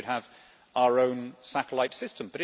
I think we should have our own satellite system.